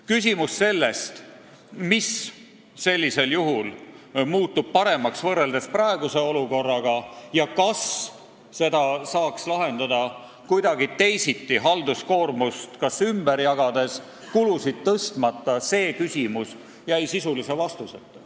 Küsimus sellest, mis muutub paremaks võrreldes praeguse olukorraga ja kas seda saaks lahendada kuidagi teisiti, halduskoormust ümber jagades ja kulusid tõstmata, jäi sisulise vastuseta.